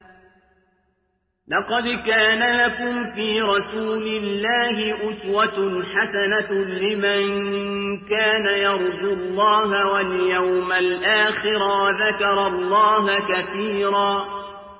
لَّقَدْ كَانَ لَكُمْ فِي رَسُولِ اللَّهِ أُسْوَةٌ حَسَنَةٌ لِّمَن كَانَ يَرْجُو اللَّهَ وَالْيَوْمَ الْآخِرَ وَذَكَرَ اللَّهَ كَثِيرًا